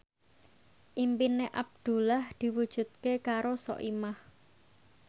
impine Abdullah diwujudke karo Soimah